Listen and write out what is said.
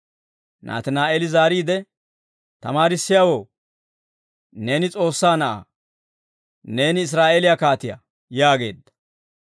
Naatinaa'eeli zaariide, «Tamaarissiyaawoo, neeni S'oossaa Na'aa! Neeni Israa'eeliyaa kaatiyaa!» yaageedda.